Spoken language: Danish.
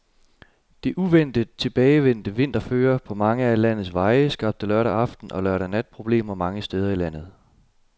Det uventet tilbagevendte vinterføre på mange af landets veje skabte lørdag aften og lørdag nat problemer mange steder i landet.